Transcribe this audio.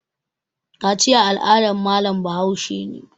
Kaciya al'adan malam Bahaushe ne